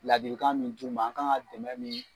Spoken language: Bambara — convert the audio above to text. Ladilikan min d'u ma, an kan ka dɛmɛ min